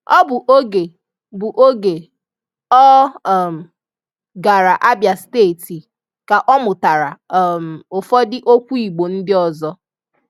Ọ bụ oge bụ oge ọ um gara Abịa steeti ka ọ mụtara um ụfọdụ okwu Igbo ndị ọzọ.